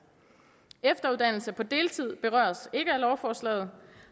efteruddannelse på deltid berøres ikke af lovforslaget